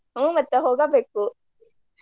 ಹ್ಮ್ ಮತ್ತ ಹೋಗಬೇಕು.